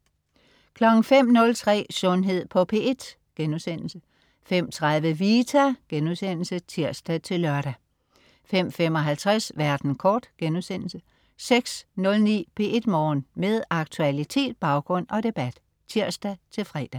05.03 Sundhed på P1* 05.30 Vita* (tirs-lør) 05.55 Verden kort* 06.09 P1 Morgen. Med aktualitet, baggrund og debat (tirs-fre)